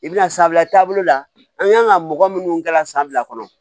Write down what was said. I bɛna san fila taabolo la an kan ka mɔgɔ minnu kɛ la san fila kɔnɔ